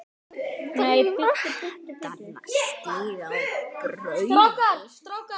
brattan stíg að baugi